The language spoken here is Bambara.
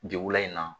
Degu la in na